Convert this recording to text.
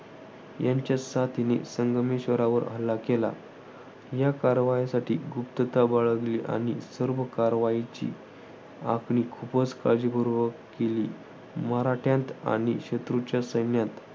यांच्या साथीने संगमेश्वरावर हल्ला केला. या कारवाईसाठी गुप्तता बाळगली आणि सर्व कारवाईची आखणी खूपच काळजीपूर्वक केली. मराठ्यांत आणि शत्रूच्या सैन्यात